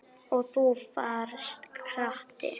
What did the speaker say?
Og þú varst krati.